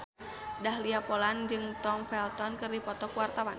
Dahlia Poland jeung Tom Felton keur dipoto ku wartawan